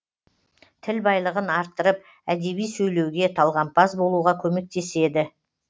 тіл байлығын арттырып әдеби сөйлеуге талғампаз болуға көмектеседі